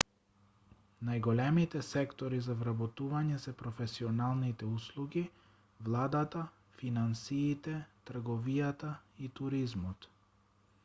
најголемите сектори за вработување се професионалните услуги владата финансиите трговијата и туризмот